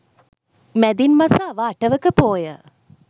මැදින් මස අව අටවක පෝය